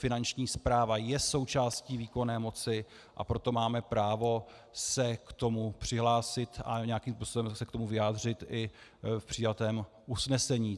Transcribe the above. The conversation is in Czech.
Finanční správa je součástí výkonné moci, a proto máme právo se k tomu přihlásit a nějakým způsobem se k tomu vyjádřit i v přijatém usnesení.